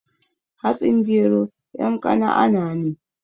Hatsin gero yan kanaana ne